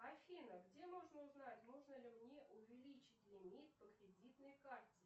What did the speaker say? афина где можно узнать можно ли мне увеличить лимит по кредитной карте